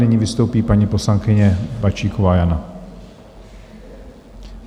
Nyní vystoupí paní poslankyně Bačíková Jana.